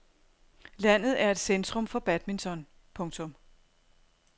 Landet er et centrum for badminton. punktum